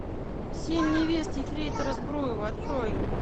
семь невест ефрейтора збруева открой